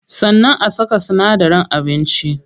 Sannan a saka sinadaran abinci.